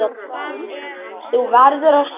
Þú verður að sjá!